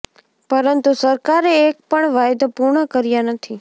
પરંતુ સરકારે એક પણ વાયદો પૂર્ણ કર્યા નથી